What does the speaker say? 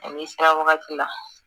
A bɛ sara wagati la